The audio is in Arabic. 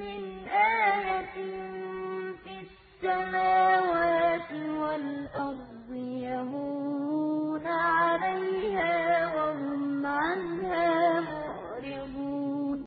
مِّنْ آيَةٍ فِي السَّمَاوَاتِ وَالْأَرْضِ يَمُرُّونَ عَلَيْهَا وَهُمْ عَنْهَا مُعْرِضُونَ